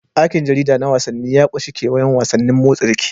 Aikin jarida na wasanni ya ƙunshi kewayon wasannin motsa jiki.